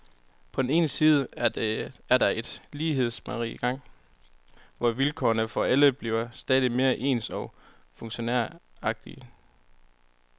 På den ene side er der et lighedsmageri i gang, hvor vilkårene for alle bliver stadig mere ens og funktionæragtige.